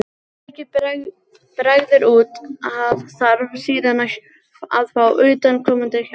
Ef mikið bregður út af þarf síðan að fá utanaðkomandi hjálp.